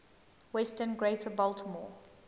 western greater baltimore